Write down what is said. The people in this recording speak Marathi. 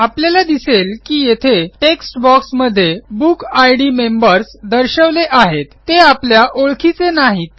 आपल्याला दिसेल की येथे टेक्स्ट boxमध्ये बुकिड नंबर्स दर्शवले आहेत ते आपल्या ओळखीचे नाहीत